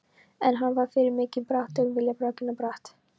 En hann var fyrir mikinn baráttuvilja hrakinn brott.